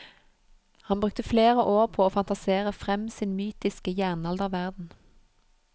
Han brukte flere år på å fantasere frem sin mytiske jernalderverden.